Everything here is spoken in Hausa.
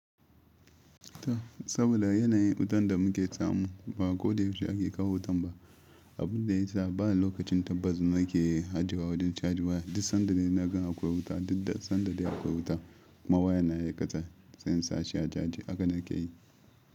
Ta, saboda yanayin wutan da muke tsamu ba ko da yaushe ake kawo wutan ba. Abun da ya sa ba lokacin tabbas muke hajewa a wajen caji ba. Duk sanda dai na ga akwai wuta, duk da sanda dai akwai wuta. Ma wayana yayi kasa, sai in sashi a caji haka nake yi.